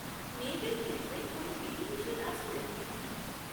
মেয়েদের ক্ষেত্রে কোনও বিধিনিষেধ আছে নাকি?